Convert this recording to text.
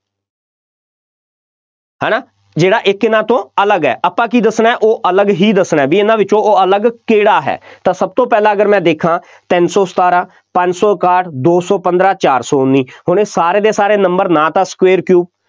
ਹੈ ਨਾ ਜਿਹੜਾ ਇੱਕ ਇਹਨਾ ਤੋਂ ਅਲੱਗ ਹੈ, ਆਪਾਂ ਕੀ ਦੱਸਣਾ, ਉਹ ਅਲੱਗ ਹੀ ਦੱਸਣਾ, ਬਈ ਇਹਨਾ ਵਿੱਚੋਂ ਉਹ ਅਲੱਗ ਕਿਹੜਾ ਹੈ, ਤਾਂ ਸਭ ਤੋਂ ਪਹਿਲਾਂ ਅਗਰ ਮੈਂ ਦੇਖਾਂ ਤਿੰਨ ਸੌ ਸਤਾਰਾਂ, ਪੰਜ ਸੌ ਇਕਾਹਠ, ਦੋ ਸੌ ਪੰਦਰਾਂ, ਚਾਰ ਸੌ ਉੱਨੀ, ਹੁਣ ਇਹ ਸਾਰੇ ਦੇ ਸਾਰੇ number ਨਾ ਤਾਂ square cube